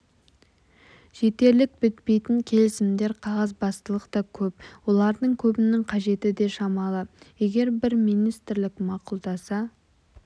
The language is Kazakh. жетерлік бітпейтін келісімдер қағазбастылық та көп олардың көбінің қажеті де шамалы егер бір министрлік мақұлдаса